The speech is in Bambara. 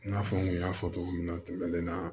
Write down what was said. I n'a fɔ n kun y'a fɔ togo min na tɛmɛnen na